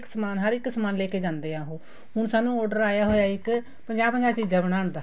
ਸਮਾਨ ਹਰ ਇੱਕ ਸਮਾਨ ਲੈਕੇ ਜਾਂਦੇ ਹੈ ਉਹ ਹੁਣ ਸਾਨੂੰ order ਆਇਆ ਹੋਇਆ ਇੱਕ ਪੰਜਾਹ ਪੰਜਾਹ ਚੀਜ਼ਾਂ ਬਨਾਣ ਦਾ